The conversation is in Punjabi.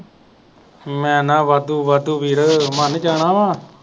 ਮੈਂ ਨਾ ਵਾਧੂ ਵਾਧੂ ਵੀਰ ਮਾਨ ਜਾਣਾ